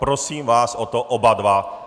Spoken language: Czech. Prosím vás o to oba dva.